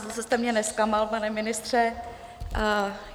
Zase jste mě nezklamal, pane ministře.